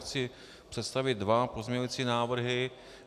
Chci představit dva pozměňující návrhy.